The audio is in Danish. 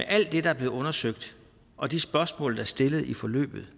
alt det der er blevet undersøgt og de spørgsmål der er stillet i forløbet